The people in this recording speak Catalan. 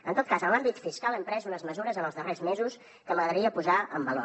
en tot cas en l’àmbit fiscal hem pres unes mesures en els darrers mesos que m’agradaria posar en valor